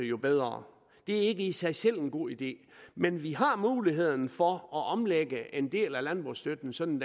jo bedre det er ikke i sig selv en god idé men vi har muligheden for at omlægge en del af landbrugsstøtten sådan